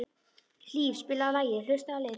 Hlíf, spilaðu lagið „Haustið á liti“.